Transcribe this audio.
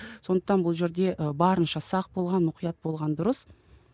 сондықтан бұл жерде ы барынша сақ болған мұқият болған дұрыс